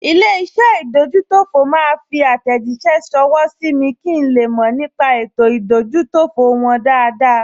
Ilé-iṣẹ́ ìdójútòfò máa fi àtẹ̀jíṣẹ́ ṣọwọ́ sí mi kí n le mọ̀ nípa ètò ìdójútòfò wọn dáadáa